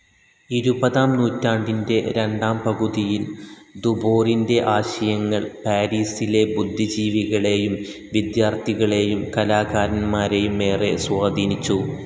ഇരുപതാം നൂറ്റാണ്ടിൻ്റെ രണ്ടാം പകുതിയിൽ ധുബോറിൻ്റെ ആശയങ്ങൾ പാരീസിലെ ബുദ്ധിജീവികളേയും വിദ്യാർത്ഥികളേയും കലാകാരന്മാരേയും ഏറെ സ്വാധീനിച്ചു.